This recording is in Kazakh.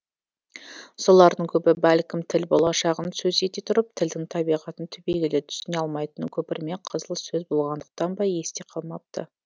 солардың көбі бәлкім тіл болашағын сөз ете тұрып тілдің табиғатын түбегейлі түсіне алмайтын көпірме қызыл сөз болғандықтан ба есте қалмапты